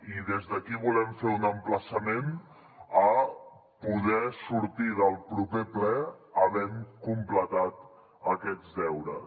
i des d’aquí volem fer un emplaçament a poder sortir del proper ple havent completat aquests deures